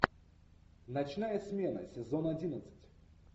ночная смена сезон одиннадцать